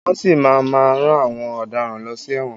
Wọ́n si máa má rán àwọn ọ̀daràn lọ sí ẹ̀wọ̀n.